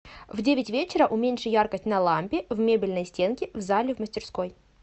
в девять вечера уменьши яркость на лампе в мебельной стенке в зале в мастерской